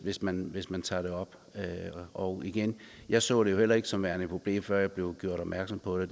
hvis man hvis man tager dem op og igen jeg så det jo heller ikke som værende et problem før jeg blev gjort opmærksom på det